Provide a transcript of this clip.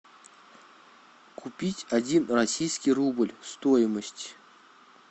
купить один российский рубль стоимость